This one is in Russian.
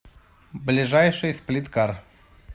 ближайший сплиткар